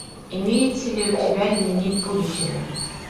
имеется ли у тебя дневник будущего